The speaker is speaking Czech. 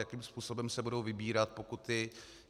Jakým způsobem se budou vybírat pokuty?